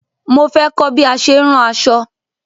Mo fẹ́ kọ̀ bí a ṣe ń rán aṣọ̣